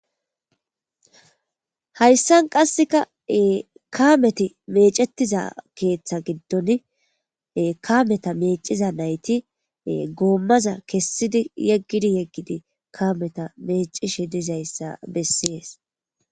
hayssan qasseka kameti meecetiza keeththa giddon kameta meeciza nayti goommaza kessidi yeggidi yeggidi kameta meecishi dizayssa bessees